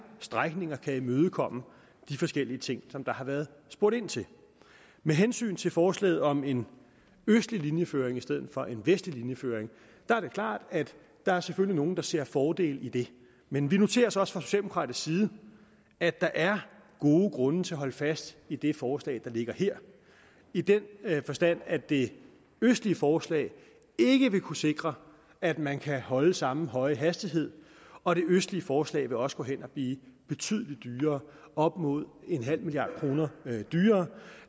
strækninger imødekommer de forskellige ting som der har været spurgt ind til med hensyn til forslaget om en østlig linjeføring i stedet for en vestlig linjeføring er det klart at der selvfølgelig er nogle der ser fordele i det men vi noterer os også fra socialdemokratisk side at der er gode grunde til at holde fast i det forslag der ligger her i den forstand at det østlige forslag ikke vil kunne sikre at man kan holde samme høje hastighed og det østlige forslag vil også gå hen og blive betydelig dyrere op mod nul milliard kroner dyrere